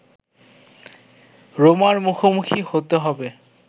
রোমার মুখোমুখি হতে হবে